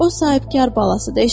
O sahibkar balasıdır.